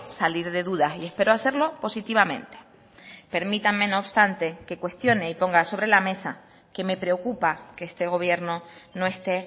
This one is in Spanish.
salir de dudas y espero hacerlo positivamente permítanme no obstante que cuestione y ponga sobre la mesa que me preocupa que este gobierno no esté